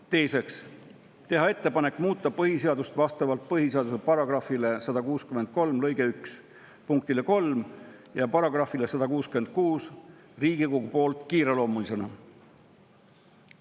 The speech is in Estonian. Teiseks, teha ettepanek muuta põhiseadust vastavalt põhiseaduse § 163 lõike 1 punktile 3 ja §‑le 166 Riigikogu poolt kiireloomulisena.